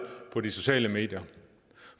på de sociale medier